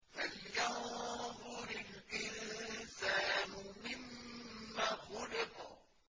فَلْيَنظُرِ الْإِنسَانُ مِمَّ خُلِقَ